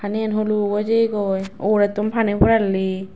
paniyen huluk oi jeyegoi ugurettun pani porelli.